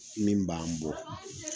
Min b'an bɔ.